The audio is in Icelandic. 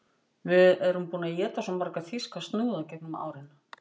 Við erum búin að éta svo marga þýska snúða í gegnum árin